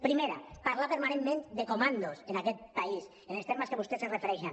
primera parlar permanentment de comandos en aquest país en els termes que vostès s’hi refereixen